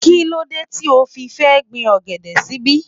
Kíló dé tí o fi fẹ́ gbin ọ̀gẹ̀dẹ̀ síbí?